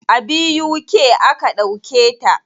A BUK aka ɗauke ta.